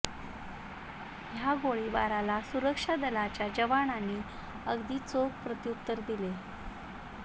ह्या गोळीबाराला सुरक्षा दलाच्या जवानांनी अगदी चोख प्रत्युत्तर दिले